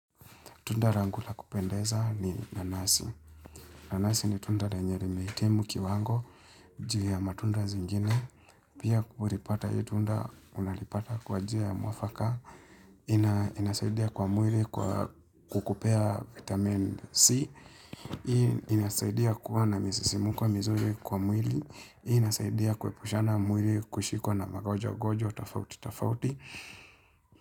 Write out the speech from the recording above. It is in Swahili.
Tunda rangu la kupendeza ni nanasi. Nanasi ni tunda lenye limehitimu kiwango juu ya matunda zingine. Pia kulipata hii tunda, unalipata kwan jia ya mwafaka. Inasaidia kwa mwili kukupea vitamin C. Hii inasaidia kuwana misisimuko mizuri kwa mwili. Hii inasaidia kuepushana mwili kushikwa na magojwa-gojwa, tofauti-tofauti.